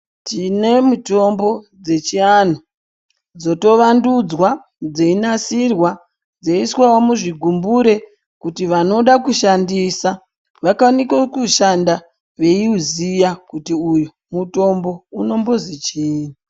Tine mitombo dzechiantu dzotovandudzwa dzei nasirwa dzeiiswavo muzvigumbure. Kuti vanoda kushandisa vakwanise kushanda veiuziya kuti uyu mutombo unombozi chii.